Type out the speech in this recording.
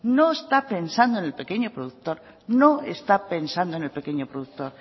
no están pensando en el pequeño productor